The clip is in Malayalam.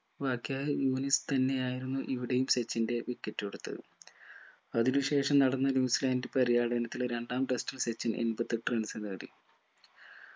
യൂനുസ് തന്നെ ആയിരുന്നു ഇവിടെയും സച്ചിന്റെ wicket എടുത്ത്ത് അതിനു ശേഷം നടന്ന ന്യൂസിലാൻഡ് പര്യടനത്തിന് രണ്ടാം test ൽ സച്ചിൻ എമ്പത്തെട്ടു runs നേടി